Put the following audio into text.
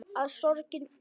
Að sorgin beið.